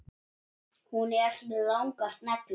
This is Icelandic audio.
Hún er með langar neglur.